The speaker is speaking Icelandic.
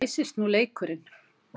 Æsist nú leikurinn!